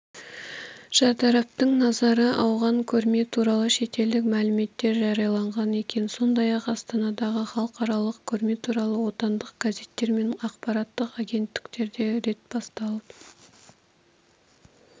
шартараптың назары ауған көрме туралы шетелдік мәліметтер жарияланған екен сондай-ақ астанадағы халықаралық көрме туралы отандық газеттер мен ақпараттық агенттіктерде рет басылып